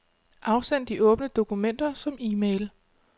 Afsend de åbne dokumenter som e-mail.